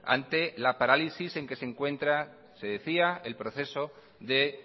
ante la parálisis en que se encuentra se decía el proceso de